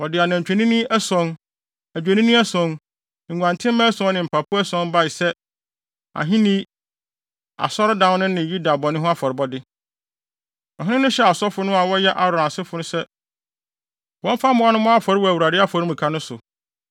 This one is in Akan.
Wɔde anantwinini ason, adwennini ason, nguantenmma ason ne mpapo ason bae sɛ, ahenni, asɔredan no ne Yuda bɔne ho afɔrebɔde. Ɔhene no hyɛɛ asɔfo no a wɔyɛ Aaron asefo sɛ wɔmfa mmoa no mmɔ afɔre wɔ Awurade afɔremuka no so.